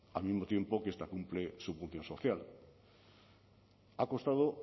al mismo tiempo que esta cumple su función social ha costado